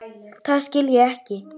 Það skil ég ekki.